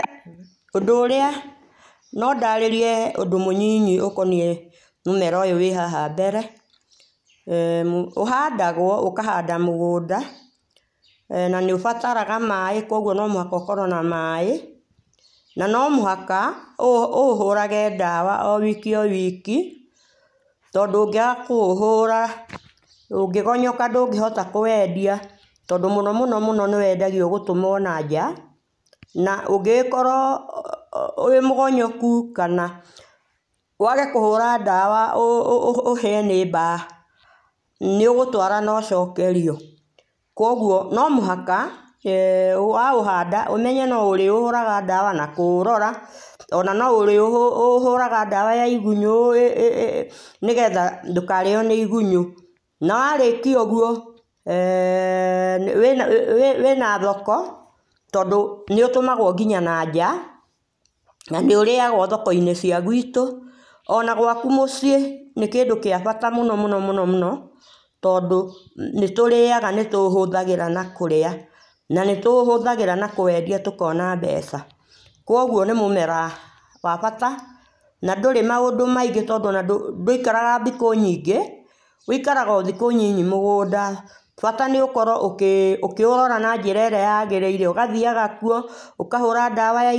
Ũndũ ũrĩa no ndarĩrie ũndũ mũnyinyi ũkoniĩ mũmera ũyũ wĩ haha mbere[eeh] ũhandagwo ũkahandwo mũgũnda na nĩ ũbataraga maĩ kũoguo nĩ nginya ũkorwo na maĩna no mũhaka ũũhũrahe dawa wiki o wiki tondũ ũngĩaga kũũhũra ũngĩgonyoka ndũngĩhota kũwendia tondũ mũno mũno nĩwendagio gũtũmwa na nja na ũngĩgĩkorwo wĩmũgonyokũ kana wagekũhũra dawa ũ ũhĩe nĩ mbaa nĩũgũtwa na ũcokerio koguo no mũhaka waũhanada ũmenye no ũrĩũhũraga dawa na kũũrora ona no ũrĩũhũraga dawa ya igũnyũ ĩ nĩgetha ndũkarĩo nĩ igũnyũ na warĩkia ũguo eeh wĩna wĩna thoko thondũ nĩũũmagwo nginya nanja na nĩ ũrĩagwo thoko inĩ cia gwitũ ona gwakũ mũciĩ nĩkĩndũ gĩa bata mũno mũno mũno tondũ nĩtũrĩaga nĩtũhũthagĩra na kũrĩa na nĩtũhũthagĩra na kũwendia tũkona mbeca ,koguo nĩ mũmera wa bata na ndũrĩ maũndũ maingĩ tondũ ndũĩkaraga thikũ nyingĩ wũĩkaraga o thikũ nyinyi mũgũnda bata nĩ ũkorwo ũkĩ ũkĩũrora na njĩra ĩrĩa yagĩrĩire ũgathiaga kũo ũkahũraga dawa .